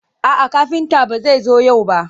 A'a, kafinta ba zai zo yau ba.